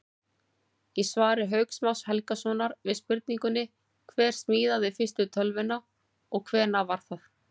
Í svari Hauks Más Helgasonar við spurningunni Hver smíðaði fyrstu tölvuna og hvenær var það?